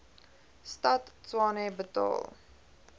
stad tshwane betaal